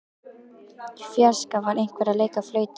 Í fjarska var einhver að leika á flautu.